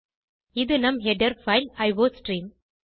இது நம் header file iostream